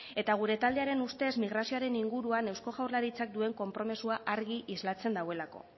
eta gure taldearen ustez migrazioaren inguruan eusko jaurlaritzak duen konpromisoa argi islatzen duelako